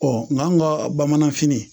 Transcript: nka an ka bamanan fini